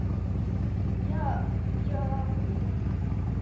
я я просто